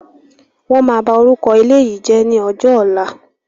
Wọn máa bá orúkọ ilé yìí jẹ̀ ni ọjọ́ ọ̀la.